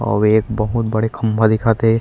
आऊ एक बहुत बड़े खम्भा दिखत हे।